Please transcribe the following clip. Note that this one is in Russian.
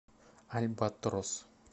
альбатрос